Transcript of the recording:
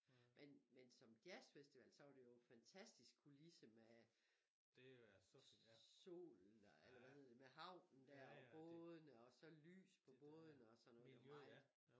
Men men som jazzfestival så var det jo fantastisk kulisse med sol eller hvad hed det med havnen der og bådene og så lys på bådene og sådan noget det var meget